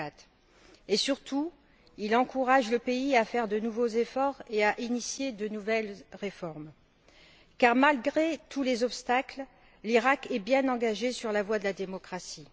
2004. Et surtout, il encourage le pays à faire de nouveaux efforts et à engager de nouvelles réformes, car, malgré tous les obstacles, l'Iraq est bien engagé sur la voie de la démocratie.